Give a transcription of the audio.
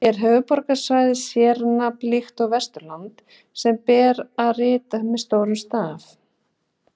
Er höfuðborgarsvæðið sérnafn líkt og Vesturland, sem ber að rita með stórum staf?